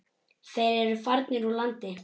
Þeir eru farnir úr landi.